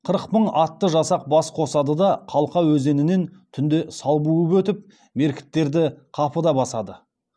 қырық мың атты жасақ бас қосады да қалқа өзенінен түнде сал буып өтіп меркіттерді қапыда басады